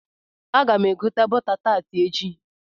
Aga m egota bọta taati echi.